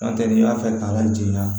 N'o tɛ n'i y'a fɛ k'a lajigin a